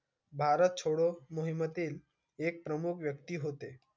भारत छोडो मोहिमेतील एक प्रमुख व्यक्ती होते